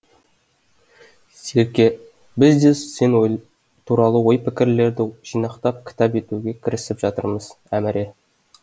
серке біз де сен туралы ой пікірлерді жинақтап кітап етуге кірісіп жатырмыз әміре